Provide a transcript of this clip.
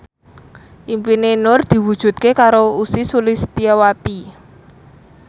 impine Nur diwujudke karo Ussy Sulistyawati